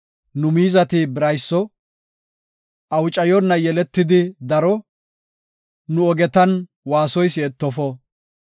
Nu miizati birayso; awucayona yeletidi daro; nu ogetan waasoy si7etofo.